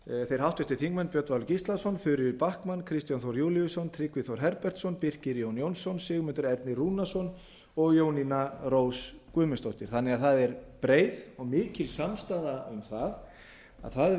þeir háttvirtir þingmenn björn valur gíslason þuríður backman kristján þór júlíusson tryggvi þór herbertsson birkir jón jónsson sigmundur ernir rúnarsson og jónína rós guðmundsdóttir það er því breið og mikil samstaða um það að það